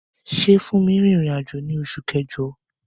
Ṣé Funmi rìnrìn àjò ní oṣù kẹjọ?